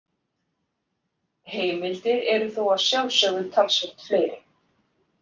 Heimildir eru þó að sjálfsögðu talsvert fleiri.